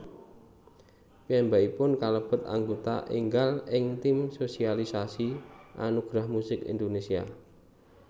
Piyambakipun kalebet aggota énggal ing tim sosialisasi Anugerah Musik Indonesia